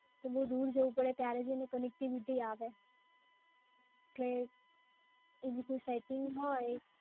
તો બઉ દૂર જઉ પડે ત્યારે જઈને connectivity આવે એટલે એવી કંઈ સેટિંગ હોય